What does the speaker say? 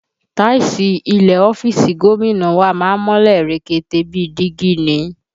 Táìsì ilẹ̀ ọ́fíìsì gómìnà wa má ń mọ́lẹ̀ rekete bíi dígí ni